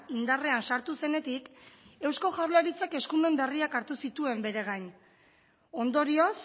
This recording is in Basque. indarrean sartu zenetik eusko jaurlaritzak eskumen berriak hartu dituen bere gain ondorioz